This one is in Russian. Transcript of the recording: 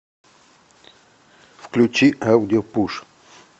включи аудио пуш